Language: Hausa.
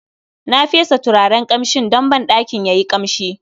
Na fesa turaren kamshin don banɗakin yayi kamshi